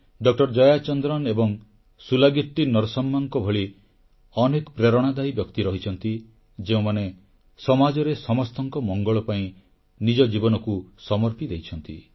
doctor Jayachandran ଏବଂ ସୁଲାଗିଟ୍ଟି ନର୍ସମ୍ମାଙ୍କ ଭଳି ଅନେକ ପ୍ରେରଣାଦାୟୀ ବ୍ୟକ୍ତି ରହିଛନ୍ତି ଯେଉଁମାନେ ସମାଜରେ ସମସ୍ତଙ୍କ ମଙ୍ଗଳ ପାଇଁ ନିଜ ଜୀବନକୁ ସମର୍ପି ଦେଇଛନ୍ତି